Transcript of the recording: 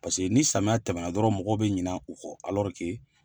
Paseke ni samiya tɛmɛna dɔrɔnw, mɔgɔw bɛ ɲina u kɔ